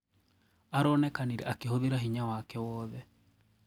Aronekanire akihũthira hinya wake wothe.